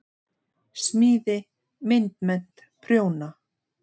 Smíði- myndmennt- prjóna